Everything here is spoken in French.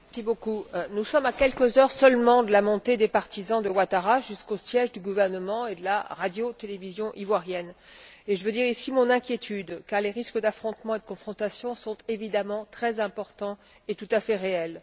Madame la Présidente, nous sommes à quelques heures seulement de la montée des partisans de Ouattara jusqu'au siège du gouvernement et de la radiotélévision ivoirienne, et je veux dire ici mon inquiétude, car les risques d'affrontements et de confrontation sont évidemment très importants et tout à fait réels.